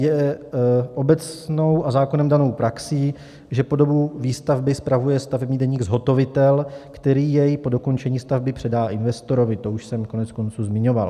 Je obecnou a zákonem danou praxí, že po dobu výstavby spravuje stavební deník zhotovitel, který jej po dokončení stavby předá investorovi - to už jsem koneckonců zmiňoval.